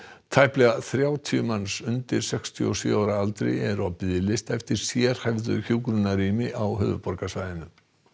tæplega þrjátíu manns undir sextíu og sjö ára aldri eru á biðlista eftir sérhæfðu hjúkrunarrými á höfuðborgarsvæðinu